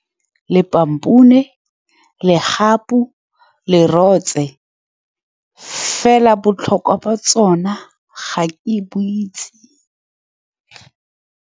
Lepampune, legapu, lerotse fela botlhokwa ba tsone ga ke e bo itse.